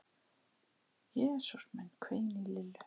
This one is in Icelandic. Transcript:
Jesús minn hvein í Lillu.